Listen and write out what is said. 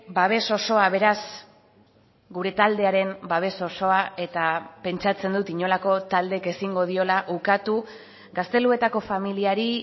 babes osoa beraz gure taldearen babes osoa eta pentsatzen dut inolako taldek ezingo diola ukatu gazteluetako familiari